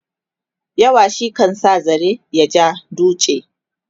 yawa shi kan sa zare ya ja duchi